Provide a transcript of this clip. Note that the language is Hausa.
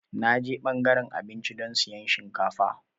Na je ɓangaren abinci don siyan shinkafa.